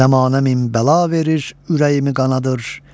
Zəmanə min bəla verir, ürəyimi qanadır.